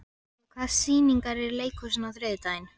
Gulli, hvaða sýningar eru í leikhúsinu á þriðjudaginn?